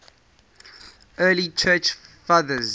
early church fathers